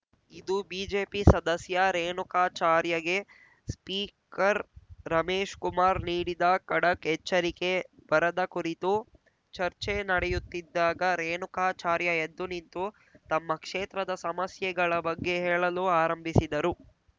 ಇದು ಬಿಜೆಪಿ ಸದಸ್ಯ ರೇಣುಕಾಚಾರ್ಯಗೆ ಸ್ಪೀಕರ್‌ ರಮೇಶ್‌ಕುಮಾರ್‌ ನೀಡಿದ ಖಡಕ್‌ ಎಚ್ಚರಿಕೆ ಬರದ ಕುರಿತು ಚರ್ಚೆ ನಡೆಯುತ್ತಿದ್ದಾಗ ರೇಣುಕಾಚಾರ್ಯ ಎದ್ದು ನಿಂತು ತಮ್ಮ ಕ್ಷೇತ್ರದ ಸಮಸ್ಯೆಗಳ ಬಗ್ಗೆ ಹೇಳಲು ಆರಂಭಿಸಿದರು